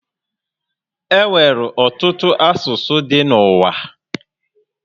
E nwere ọtụtụ asụsụ dị n'uwa